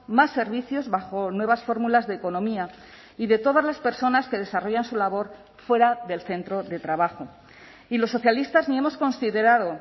más servicios bajo nuevas fórmulas de economía y de todas las personas que desarrollan su labor fuera del centro de trabajo y los socialistas ni hemos considerado